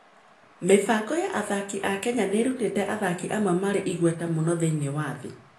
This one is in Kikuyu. Mĩbango ya athaki a Kenya nĩ ĩrutĩte athaki amwe marĩ igweta mũno thĩinĩ wa thĩ.